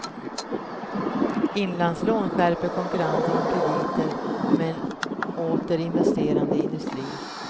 Inlandslån skärper konkurrensen om krediter med en åter investerande industri.